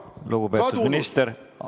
Lugupeetud minister, aeg!